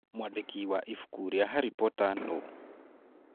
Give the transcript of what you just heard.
Mwandĩki wa ibuku rĩa Harry Potter nũ?